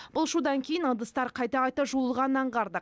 бұл шудан кейін ыдыстар қайта қайта жуылғанын аңғардық